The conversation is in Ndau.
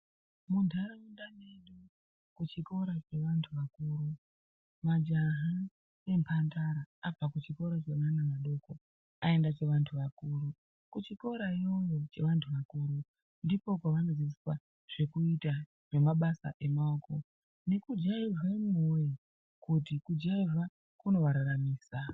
Mundaraunda kuchikora kweandu akuru, majaha nemhandara abva kuchikora cheana adoko aenda chewandu wakuru, kuchikora iyoyo chewandu wakuru, ndipo pawanodzidziswa zvekuita nemabasa emaoko, nekujaivha imwi woye kuti kujaivha kunowararamisa.